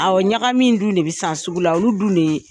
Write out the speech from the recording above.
Awɔ, ɲagamin dun de bɛ san sugu la, olu dun de ye